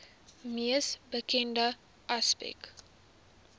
mees bekende aspek